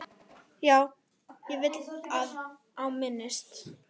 Já, og vel á minnst.